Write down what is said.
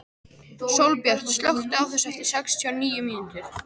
Sólbjört, slökktu á þessu eftir sextíu og níu mínútur.